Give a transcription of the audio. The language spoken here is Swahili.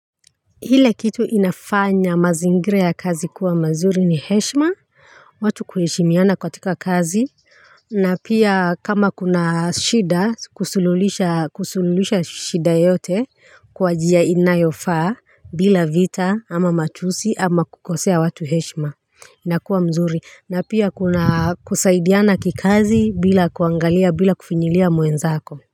Kile kitu inafanya mazingira ya kazi kuwa mazuri ni heshima watu kuheshimiana katika kazi na pia kama kuna shida kusululisha kusululisha shida yote kwa njia inayofaa bila vita ama matusi ama kukosea watu heshima inakuwa mzuri na pia kuna kusaidiana kikazi bila kuangalia bila kufinyilia mwenzako. Kwa hivyo,